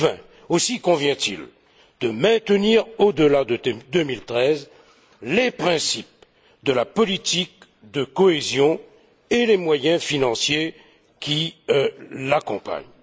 2020. Aussi convient il de maintenir au delà de 2013 les principes de la politique de cohésion et les moyens financiers qui l'accompagnent.